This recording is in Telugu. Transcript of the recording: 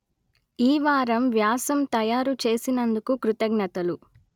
ఈ వారం వ్యాసం తయారు చేసినందుకు కృతజ్ఞతలు